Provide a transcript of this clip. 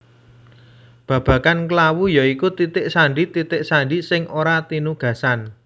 Babagan klawu ya iku titik sandi titik sandi sing ora tinugasan